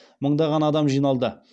мыңдаған адам жиналды